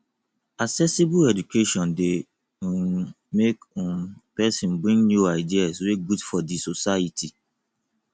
accessible education de um make um persin bring new ideas wey good for di society